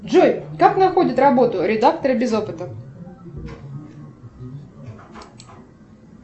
джой как находят работу редакторы без опыта